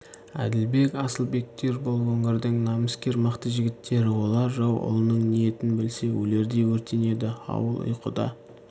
әділбек асылбектер бұл өңірдің намыскер мықты жігіттері олар жау ұлының ниетін білсе өлердей өртенеді ауыл ұйқыда